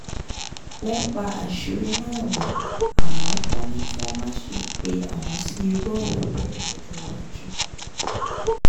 wọ́n pa àṣírí náà mọ́ àmọ́ wọ́n ní kí wọ́n má ṣe pe àwọn sí irú ọ̀rọ̀ bẹ́ẹ̀ lọ́jọ́ iwájú